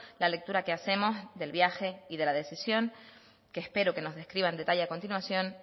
la lectura que hacemos del viaje y de la decisión que espero que nos describa en detalle a continuación